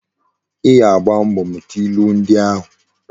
I ga-agba mbo muta ilu ndi ahu!